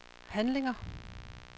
handlinger